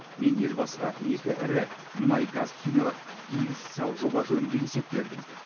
мен елбасыға екі ірі мұнай газ химиялық инвестициялық жоба жөнінде есеп бердім